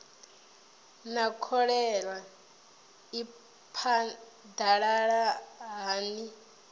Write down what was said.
naa kholera i phadalala hani